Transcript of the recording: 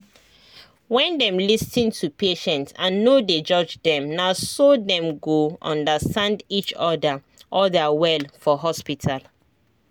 when them lis ten to patient and no dey judge them na so dem go understand each other other well for hospital